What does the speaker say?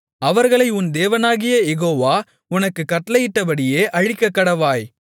அவர்களை உன் தேவனாகிய யெகோவா உனக்குக் கட்டளையிட்டபடியே அழிக்கக்கடவாய்